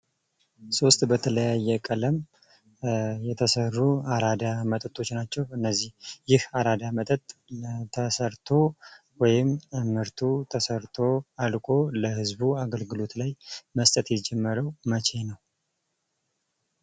ሶስት በተለያየ ቀለም የተሰሩ አራዳ መጠጦች ናቸው ።እነዚህ ይህ አራዳ መጠጥ ተሰርቶ ወይም ተመርቶ አልቆ ለህዝቡ አገልግሎት ላይ መስጠት የጀመረው መቼ ነው?